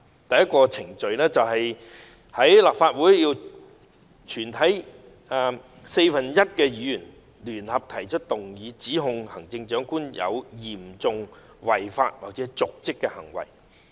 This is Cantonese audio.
第一，立法會全體四分之一的議員聯合提出動議，指控行政長官有嚴重違法或瀆職行為。